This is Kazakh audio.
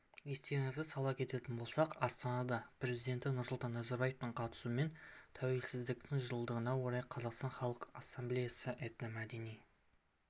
естеріңізге сала кететін болсақ астанада президенті нұрсұлтан назарбаевтың қатысуымен тәуелсіздіктің жылдығына орай қазақстан халқы ассамблеясының этномәдени